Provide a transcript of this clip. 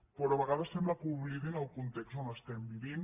però a vegades sembla que oblidin el context on vivim